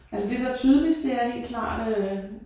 Altså det der tydeligst det er helt klart øh